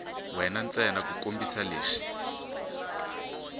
we ntsena ku kombisa leswi